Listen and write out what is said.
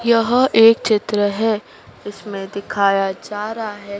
यह एक चित्र हैं इसमें दिखाया जा रहा हैं--